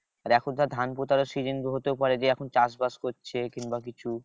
আর এখন ধর ধান পোঁতারও season হতেও পারে যে চাষ বাস করছে কিংবা কিছু।